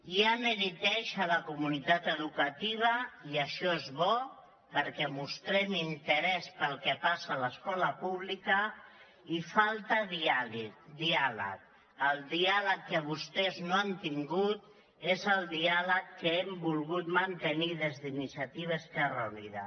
hi ha neguit a la comunitat educativa i això és bo perquè mostrem interès pel que passa al l’escola pública i falta diàleg el diàleg que vostès no han tingut és el diàleg que hem volgut mantenir des d’iniciativa esquerra unida